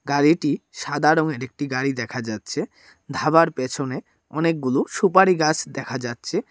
গাড়িটি সাদা রঙের একটি গাড়ি দেখা যাচ্ছে ধাবার পেছনে অনেকগুলো সুপারি গাছ দেখা যাচ্ছে।